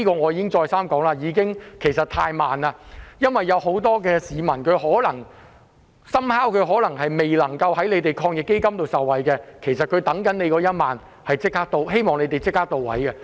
我已經再三說，真的是太慢，因為很多市民可能基於個別原因而未能受惠於防疫抗疫基金，他們正等待着這1萬元，我希望政府可以做得到位。